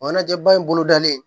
Ɲɛnajɛ ba in bolo dalen